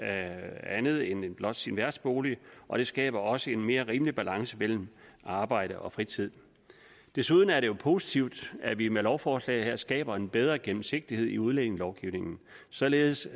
andet end blot sin værtsbolig og det skaber også en mere rimelig balance mellem arbejde og fritid desuden er det jo positivt at vi med lovforslaget her skaber en bedre gennemsigtighed i udlændingelovgivningen således